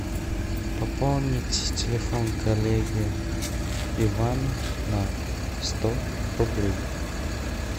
пополнить телефон коллеги ивана на сто рублей